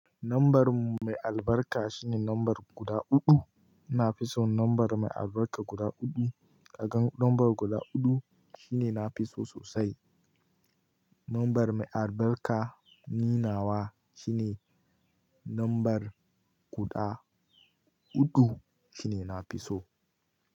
Number mai albarka shine number guda huɗu. Na fi son number mai albarka guda huɗu. Kagan number guda huɗu shine nafi so sosai. Number mai albarka ninawa shine number guda huɗu shine nafi so.